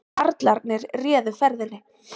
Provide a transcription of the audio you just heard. Karlarnir réðu ferðinni